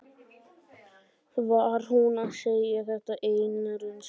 Var hún að segja þetta af eigin reynslu?